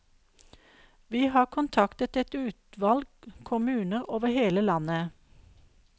Vi har kontaktet et utvalg kommuner over hele landet.